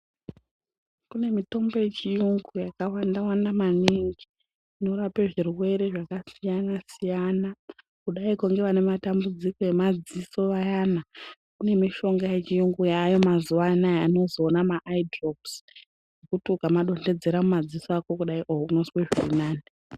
Kune mitombo yechiyungu yakawanda wanda maningi inorape zvirwere zvakasiyana-siyana. Kudaiko ngevanematambudziko emadziso ayana, kune mishonga yechiyungu yaayo mazuva anaya anozwi ona maayidhiropus, okuti ukamadonhedzera mumadziso ako kudai oh unozwe zvirinani.